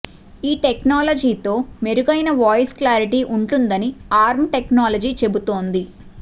ఈ టెక్నాలజీతో మెరుగైన వాయిస్ క్లారిటీ ఉంటుందని ఆర్మ్ టెక్నాలజీ చెబుతోంది